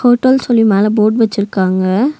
Hotel சொல்லி மேல board வெச்சிருக்காங்க.